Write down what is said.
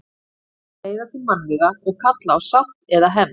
Deilur leiða til mannvíga og kalla á sátt eða hefnd.